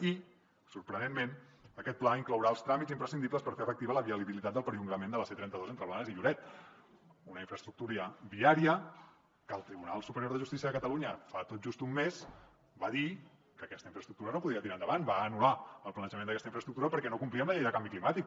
i sorprenentment aquest pla inclourà els tràmits imprescindibles per fer efectiva la viabilitat del perllongament de la c trenta dos entre blanes i lloret una infraestructura viària que el tribunal superior de justícia de catalunya fa tot just un mes va dir que aquesta infraestructura no podia tirar endavant va anul·lar el planejament d’aquesta infraestructura perquè no complia amb la llei del canvi climàtic